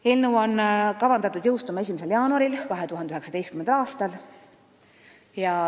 Eelnõu on kavandatud seadusena jõustuma 1. jaanuaril 2019. aastal.